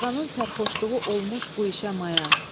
Darğanın sərxoşluğu olmuş bu işə maya.